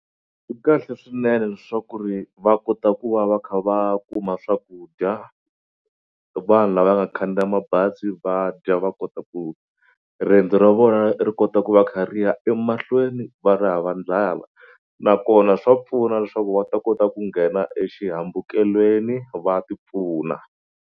Ku kahle swinene leswaku ri va kota ku va va kha va kuma swakudya vanhu lavaya nga khandziya mabazi va dya va kota ku riyendzo ra vona ri kota ku va kha ri ya emahlweni va ri hava nakona swa pfuna leswaku va ta kota ku nghena exihambukelweni va tipfuna.